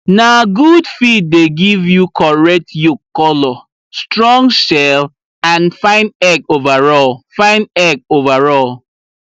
na good feed dey give you correct yolk colour strong shell and fine egg overall fine egg overall